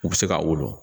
U bɛ se ka wolo